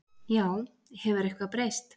Já, hefur eitthvað breyst?